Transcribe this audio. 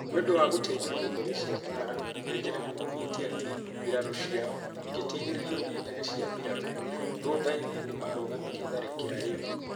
Nĩ ũndũ wa gũteithio nĩ ndege cia mbaara, Nigeria nĩmaugĩte atĩ mbirarũ ciao igĩteithĩrĩo ni ndege cia mbiraru, thutha-inĩ nĩmarũgamirie tharĩkĩra ĩyo